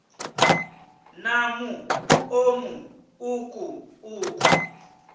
na muṱo mu uku uku